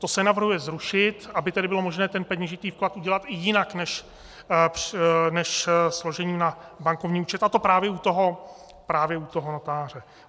To se navrhuje zrušit, aby tedy bylo možné ten peněžitý vklad udělat i jinak než složením na bankovní účet, a to právě u toho notáře.